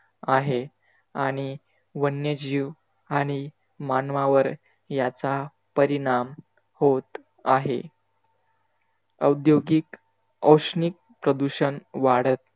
आहे. आणि वन्यजीव आणि मानवावर याचा परिणाम होत आहे. औद्योगिक औष्णिक प्रदूषण वाढत